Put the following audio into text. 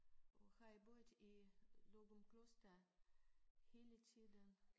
Og har I boet i Løgumkloster hele tiden?